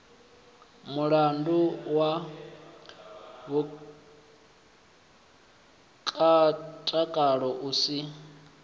mulandu wa mutakalo u si